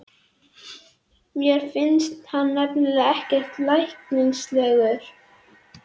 Mér fannst hann nefnilega ekkert læknislegur.